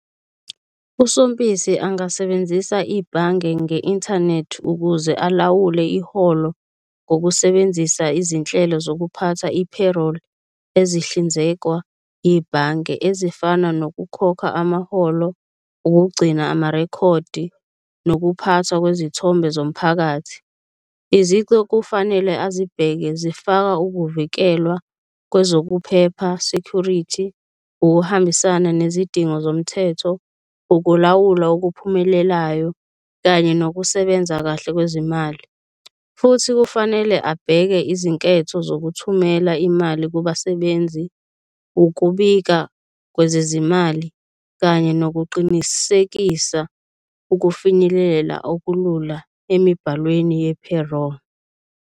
USompisi angasebenzisa ibhange nge-inthanethi ukuze alawule iholo ngokusebenzisa izinhlelo zokuphatha i-payroll, ezihlinzekwa ibhange ezifana nokukhokha amaholo, ukugcina amarekhodi nokuphathwa kwezithombe zomphakathi. Izici okufanele azibheke zifaka ukuvikelwa kwezokuphepha, security, ukuhambisana nezidingo zomthetho, ukulawulwa okuphumelelayo kanye nokusebenza kahle kwezimali. Futhi kufanele abheke izinketho zokuthumela imali kubasebenzi, ukubika kwezezimali kanye nokuqinisekisa ukufinyelela okulula emibhalweni ye-payroll.